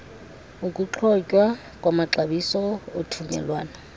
ukuthotywa kwamaxabiso othungelwano